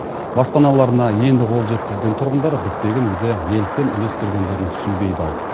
баспаналарына енді қол жеткізген тұрғындар бітпеген үйді неліктен үлестіргендерін түсінбей дал